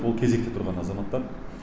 ол кезекте тұрған азаматтар